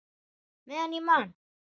Meðan ég man!